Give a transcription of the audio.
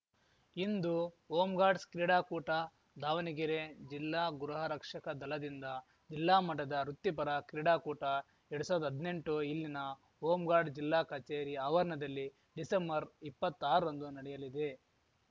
ಇಂದು home guards ಕ್ರೀಡಾಕೂಟ ದಾವಣಗೆರೆ ಜಿಲ್ಲಾ ಗೃಹ ರಕ್ಷಕ ದಳದಿಂದ ಜಿಲ್ಲಾ ಮಟ್ಟದ ವೃತ್ತಿಪರ ಕ್ರೀಡಾಕೂಟಎರಡ್ ಸಾವ್ರ್ದ ಹದ್ನೆಂಟು ಇಲ್ಲಿನ ಹೋಂ ಗಾರ್ಡ್ ಜಿಲ್ಲಾ ಕಚೇರಿ ಆವರಣದಲ್ಲಿ ಡಿಸೆಂಬರ್ಇಪ್ಪತ್ತಾರರಂದು ನಡೆಯಲಿದೆ